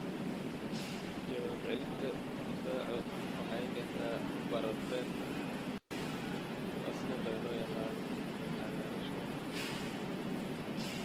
Jawaab celinta difaacu waxay keentaa barar beerka, oo sidoo kale loo yaqaan cagaarshow.